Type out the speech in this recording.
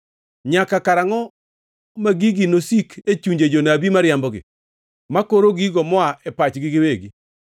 Nyaka karangʼo ma gigi nosik e chunje jonabi mariambogi, makoro gigo moa e pachgi giwegi?